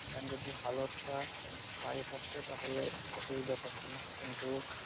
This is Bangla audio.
এখন যদি ভাল একটা আয় থাকত তাহলে অসুবিধা থাকতো না কিন্তু